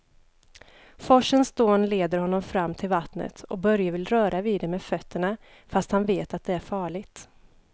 Forsens dån leder honom fram till vattnet och Börje vill röra vid det med fötterna, fast han vet att det är farligt.